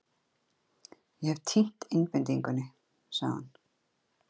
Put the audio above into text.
Ég hef týnt einbeitingunni, sagði hann.